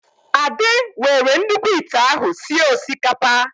Ade were nnukwu ịte ahụ sịe osikapa